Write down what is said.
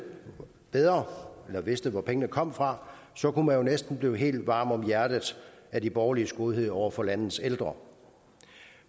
bedre eller vidste hvor pengene kommer fra så kunne man jo næsten blive helt varm om hjertet af de borgerliges godhed over for landets ældre